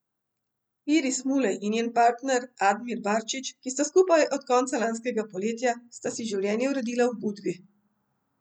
Iris Mulej in njen partner Admir Barčić, ki sta skupaj od konca lanskega poletja, sta si življenje uredila v Budvi.